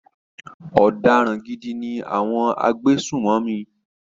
Ọ̀daràn gidi ni àwọn agbésùnmọ̀mí.